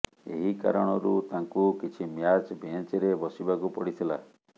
ଏହି କାରଣରୁ ତାଙ୍କୁ କିଛି ମ୍ୟାଚ୍ ବେଞ୍ଚରେ ବସିବାକୁ ପଡ଼ିଥିଲା